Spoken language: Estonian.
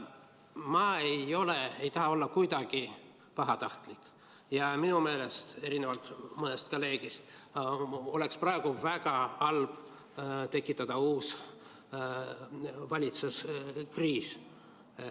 Ma ei taha olla kuidagi pahatahtlik ja minu meelest, erinevalt mõnest kolleegist, oleks praegu väga halb tekitada uus valitsuskriis.